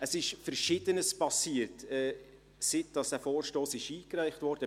Es ist Verschiedenes passiert, seit dieser Vorstoss eingereicht wurde.